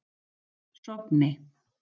Sogni